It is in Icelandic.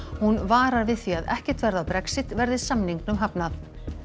hún varar við því að ekkert verði af Brexit verði samningnum hafnað